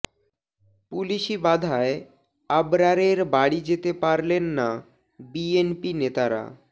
পুলিশি বাধায় আবরারের বাড়ি যেতে পারলেন না বিএনপি নেতারা